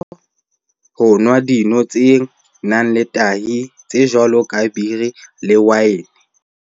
o rata ho nwa dino tse nang le tahi tse jwalo ka biri le waene